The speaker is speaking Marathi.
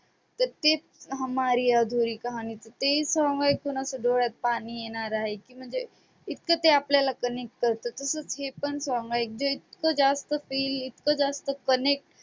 तर ते हमारी अधुरी कहाणी, ते song ऐकून असं डोळ्यात पाणी येणार आहे की म्हणजे इतकं ते आपल्याला connect करतं तसंच हे पण song इतकं जास्त feel इतकं जास्त connect